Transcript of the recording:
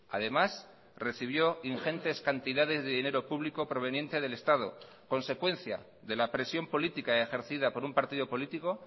además recibió ingentes cantidades de dinero público proveniente del estado consecuencia de la presión política ejercida por un partido político